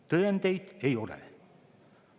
Tõendeid ei ole.